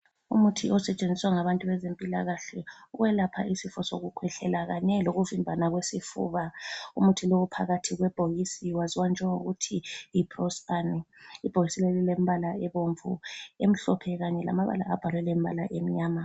Umuthi osetshenziswa ngabantu bezempilakahle ukwelapha isifo sokukhwehlela kanye lokuvimbana kwesifuba. Umuthi lo uphakathi kwebhokisi waziwa njengokuthi yi Prospan. Ibhokisi leli lilemibala ebomvu, emhlophe kanye lamabala abhalwe ngembala emnyama.